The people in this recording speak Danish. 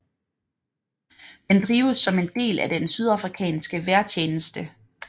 Den drives som en del af den sydafrikanske vejrtjeneste